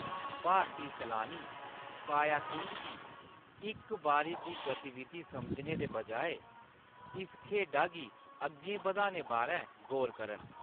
भारती Salani, kayaking गी इक बारी दी गतिविधि समझने दे बजाए इस खेढा गी अग्गें बधाने बारै गौर करन।